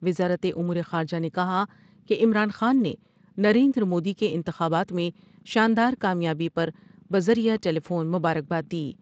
وزارت امور خارجہ نے کہا کہ عمران خان نے نریندرمودی کے انتخابات میں شاندار کامیابی پر بذریعہ ٹیلی فون مبار کبا دی ۔